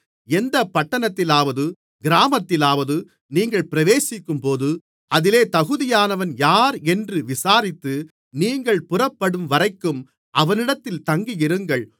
எந்தப் பட்டணத்திலாவது கிராமத்திலாவது நீங்கள் பிரவேசிக்கும்போது அதிலே தகுதியானவன் யாரென்று விசாரித்து நீங்கள் புறப்படும்வரைக்கும் அவனிடத்தில் தங்கியிருங்கள்